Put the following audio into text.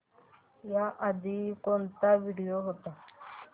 याआधी कोणता व्हिडिओ होता